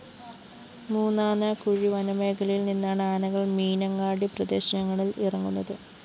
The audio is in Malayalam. മൂന്നാനക്കുഴി വനമേഖലയില്‍ നിന്നാണ് ആനകള്‍ മീനങ്ങാടി പ്രദേശങ്ങളില്‍ ഇറങ്ങുന്നത്